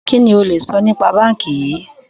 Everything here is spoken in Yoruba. Kìíní ó le sọ nípa báńkì yìí?